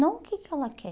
Não o que que ela quer.